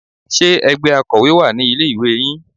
Ṣe ẹgbẹ́ Akọ́wé wà ní ilé ìwé yín?